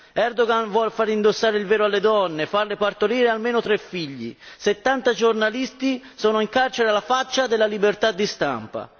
Erdogan vuole fare indossare il velo alle donne, farle partorire almeno tre figli, 70 giornalisti sono in carcere alla faccia della libertà di stampa.